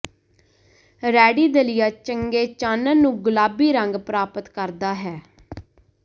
ready ਦਲੀਆ ਚੰਗੇ ਚਾਨਣ ਨੂੰ ਗੁਲਾਬੀ ਰੰਗ ਪ੍ਰਾਪਤ ਕਰਦਾ ਹੈ